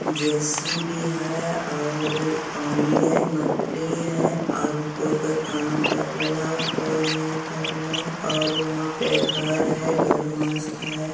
JCB है और पानी हेय मट्टी हेयकोय-कोय क काम करहल ने कोई नहीं करहलने और वहाँ पे घर है घर में मस्त है।